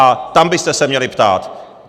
A tam byste se měli ptát.